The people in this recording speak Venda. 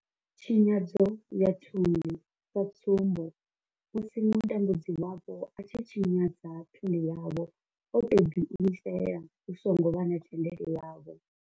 Tshinyadzo ya thundu sa tsumbo, musi mutambudzi wavho a tshi tshinyadza thundu yavho o tou ḓi imisela hu songo vha na thendelo yavho.